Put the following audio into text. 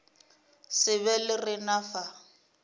se be le rena fa